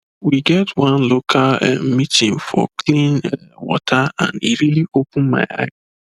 we get one local um meeting for clean um water and e really open my eye